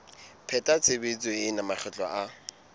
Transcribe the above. pheta tshebetso ena makgetlo a